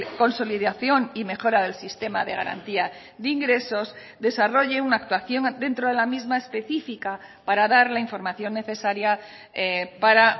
consolidación y mejora del sistema de garantía de ingresos desarrolle una actuación dentro de la misma específica para dar la información necesaria para